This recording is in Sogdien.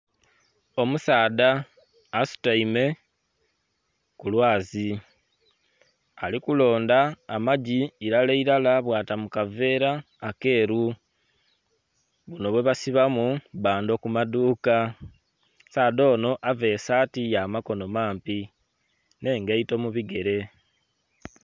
Omusaadha asutaime ku lwazi ali kulonda amagi ilala ilala bwata mu kaveera akeeru, buno bwe basibamu bbando ku maduuka. Omusaadha onho avaire esaati ya makono mampi n'engaito mu bigere.